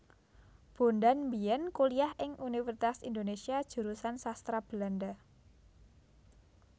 Bondan biyen kuliah ing Universitas Indonesia Jurusan Sastra Belanda